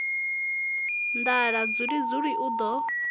nḓala dzuli dzuli u ḓo